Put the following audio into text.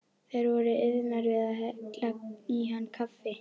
Þær voru iðnar við að hella í hann kaffi.